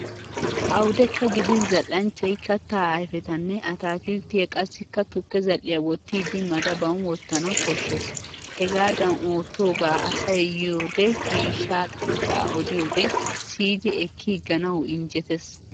Awudekka gidin zal'anchchay kattaa ayfetanne ataakilttiya qassikka tukke zal'iya wottiddi madaban wottana koshshes. Hegaadan oottoogaa asay yiyoode miishshaa xekkaa odiyode siyidi ekkiiganawu injjetes.